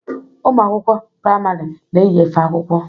Ụmụ akwụkwọ priamarị na-eyi efe akwụkwọ.